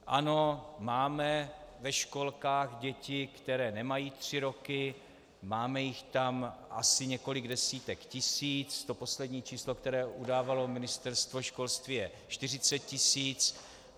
Ano, máme ve školkách děti, které nemají tři roky, máme jich tam asi několik desítek tisíc, to poslední číslo, které udávalo Ministerstvo školství, je 40 tisíc.